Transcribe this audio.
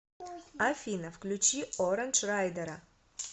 афина включи орандж райдера